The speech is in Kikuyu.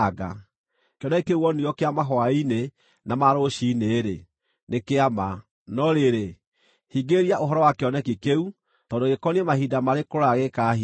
“Kĩoneki kĩu wonirio kĩa mahwaĩ-inĩ na ma rũciinĩ-rĩ, nĩ kĩa ma, no rĩrĩ, hingĩrĩria ũhoro wa kĩoneki kĩu tondũ gĩkoniĩ mahinda marĩ kũraya gĩgĩkahingio.”